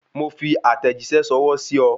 Mo fi àtẹ̀jíṣẹ́ ṣọwọ́ sí o